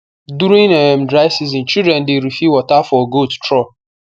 during um dry season children dey refill water for goat trough